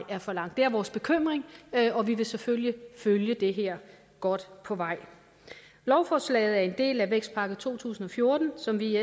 for lang det er vores bekymring og vi vil selvfølgelig følge det her godt på vej lovforslaget er en del af vækstpakke to tusind og fjorten som vi i